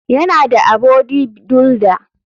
Yana da abody duilder.